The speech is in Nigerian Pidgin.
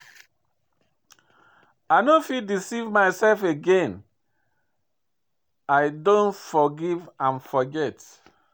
I no fit deceive my self again, I don forgive and forget.